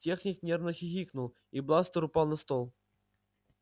техник нервно хихикнул и бластер упал на стол